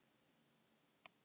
Andi þinn mun lifa alla tíð.